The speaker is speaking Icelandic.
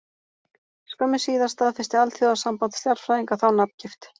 Skömmu síðar staðfesti Alþjóðasamband stjarnfræðinga þá nafngift.